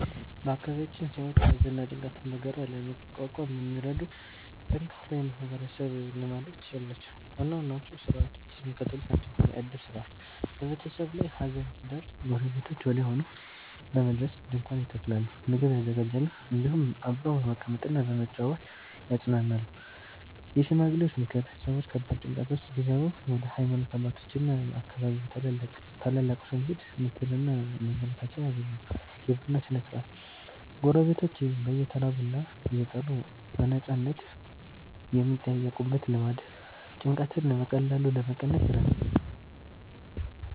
በአካባቢያችን ሰዎች ሐዘንና ጭንቀትን በጋራ ለመቋቋም የሚረዱ ጠንካራ የማህበረሰብ ልማዶች አሏቸው። ዋና ዋናዎቹ ሥርዓቶች የሚከተሉት ናቸው፦ የዕድር ሥርዓት፦ በቤተሰብ ላይ ሐዘን ሲደርስ ጎረቤቶች ወዲያውኑ በመድረስ ድንኳን ይተክላሉ፣ ምግብ ያዘጋጃሉ፤ እንዲሁም አብረው በመቀመጥና በመጨዋወት ያጽናናሉ። የሽማግሌዎች ምክር፦ ሰዎች ከባድ ጭንቀት ውስጥ ሲገቡ ወደ ሃይማኖት አባቶችና የአካባቢው ታላላቆች በመሄድ ምክርና ማበረታቻ ያገኛሉ። የቡና ሥነ-ሥርዓት፦ ጎረቤቶች በየተራ ቡና እየጠሩ በነፃነት የሚጠያየቁበት ልማድ ጭንቀትን በቀላሉ ለመቀነስ ይረዳል።